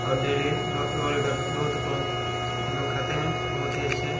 -- और डेली दो दो लिटर दूध को हम लोग खाते है बोहोत ही अच्छे--